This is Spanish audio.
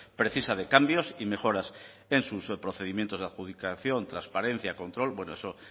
precisa de cambios y mejoras en sus procedimientos de adjudicación transparencia control bueno eso